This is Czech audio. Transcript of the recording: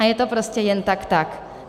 A je to prostě jen tak tak.